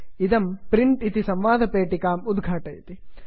इदं print print इति संवादपेटिकाम् उद्घाटयति